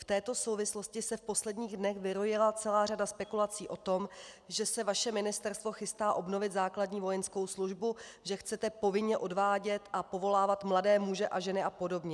V této souvislosti se v posledních dnech vyrojila celá řada spekulací o tom, že se vaše ministerstvo chystá obnovit základní vojenskou službu, že chcete povinně odvádět a povolávat mladé muže a ženy a podobně.